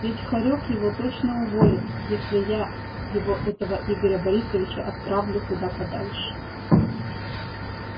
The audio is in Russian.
ведь хорёк его точно уволит если я его этого игоря борисовича отправлю куда подальше